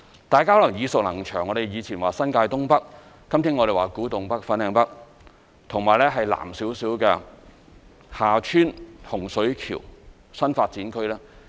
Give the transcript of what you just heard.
大家可能耳熟能詳，我們以前說新界東北，今天我們說古洞北/粉嶺北和其南面一點的洪水橋/厦村新發展區。